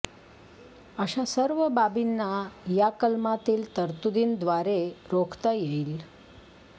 अशा सर्व बाबींना या कलमातील तरतुदींद्वारे रोखता येईल